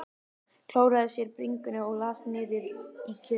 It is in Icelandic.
Klóraði sér á bringunni og las hann niður í kjölinn.